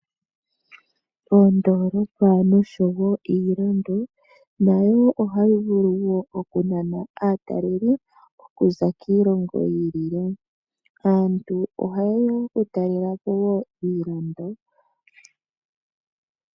Oondoolopa noshowo iilando nayo ohayi vulu woo okunana aatalelipo okuza kiilongo yiilile . Aantu ohayeya oku talelapo woo iilando.